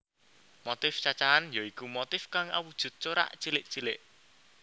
Motif cacahan ya iku motif kang awujud corak cilik cilik